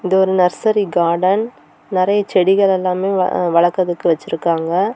இது ஒரு nursery garden நிறைய செடிகள் எல்லாம் வளக்கரதுக்கு வச்சிருக்காங்க.